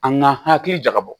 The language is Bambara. An ka hakili jakabɔ